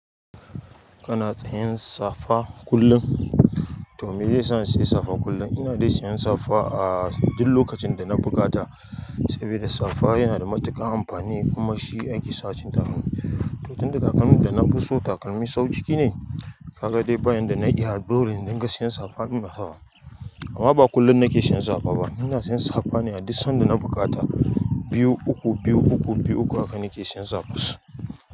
Kana tsayan safa kullum? To me zai sa in siya safa kullum. Ina dai siyan safa a duk lokacin da na buƙata saboda safa yana da matuƙar amfani kuma shi ake sawa cikin takalmi. To tun da takalmin da na puso takalmi sau ciki ne, ka ga dai ba yanda na iya dole in dinga sayan safa. Amma ba kullum nake siyan safa ba, ina siyan safa ne a duk sanda na buƙata. Biyu, uku, biyu, uku, biyu, uku haka nake siyan safus.